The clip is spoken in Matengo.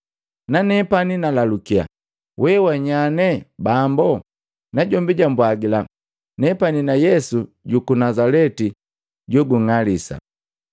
Nanepani nalalukiya, ‘Wewanyane, Bambo?’ Najombi jambwagila, ‘Nepani na Yesu juku Nazaleti jounng'alisa.’